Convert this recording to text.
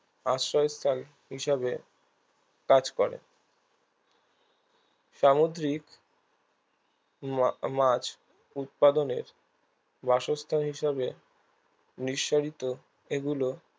আশ্রয়স্থল হিসেবে কাজ করে সামুদ্রিক মা মাছ উৎপাদনের বাসস্থান হিসেবে নিঃসারিত এগুলো